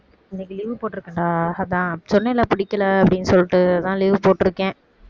இன்னைக்கு leave போட்டிருக்கேன்டா அதான் சொன்னேன்ல பிடிக்கல அப்படினு சொல்லிட்டு அதான் leave போட்டிருக்கேன்